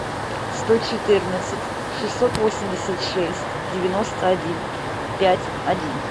сто четырнадцать шестьсот восемьдесят шесть девяносто один пять один